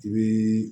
I bii